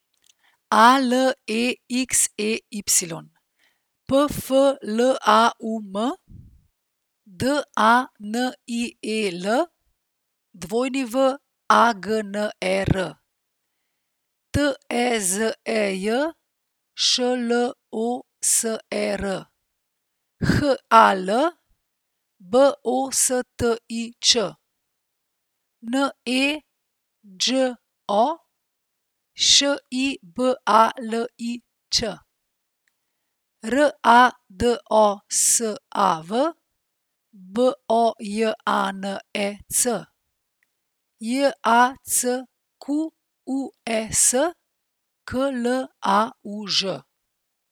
A L E X E Y, P F L A U M; D A N I E L, W A G N E R; T E Z E J, Š L O S E R; H A L, B O S T I Č; N E Đ O, Š I B A L I Ć; R A D O S A V, B O J A N E C; J A C Q U E S, K L A U Ž.